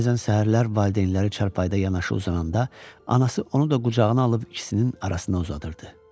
Bəzən səhərlər valideynləri çarpayıda yanaşı uzananda anası onu da qucağına alıb ikisinin arasında uzadırdı.